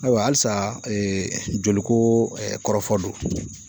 Ayiwa halisa ee joliko ɛ kɔrɔfɔ do